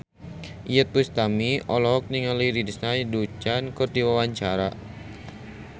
Iyeth Bustami olohok ningali Lindsay Ducan keur diwawancara